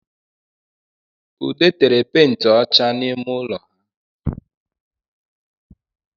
Ude tere penti ọcha n’ime ụlọ ha